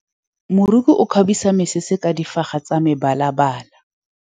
Moroki o kgabisa mesese ka difaga tsa mebalabala.